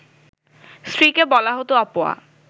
স্ত্রীকে বলা হতো অপয়া